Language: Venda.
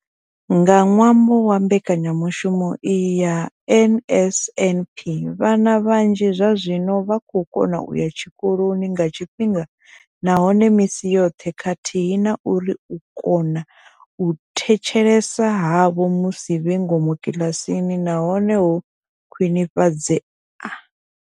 Nga ṅwambo wa mbekanyamushumo iyi ya NSNP, vhana vhanzhi zwazwino vha vho kona u ya tshikoloni nga tshifhinga nahone misi yoṱhe khathihi na uri u kona u thetshelesa havho musi vhe ngomu kiḽasini na hone ho khwinifhadzea.